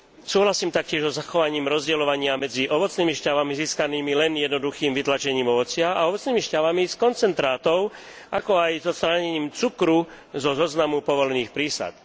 Súhlasím taktiež so zachovaním rozdeľovania medzi ovocnými šťavami získanými len jednoduchým vytlačením ovocia a ovocnými šťavami z koncentrátov, ako aj odstránením cukru zo zoznamu povolených prísad.